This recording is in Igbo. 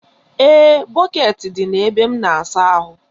Ee, bọkeeti dị na ebe m n'asa ahụ.